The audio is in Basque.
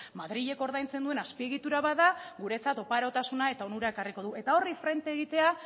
madrilek ordaintzen duen azpiegitura bat da guretzat oparotasuna eta onura ekarriko du eta horri frente egitea